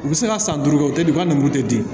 U bɛ se ka san duuru kɛ u tɛ u ka nugu tɛ di